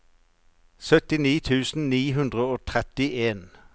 syttini tusen ni hundre og trettien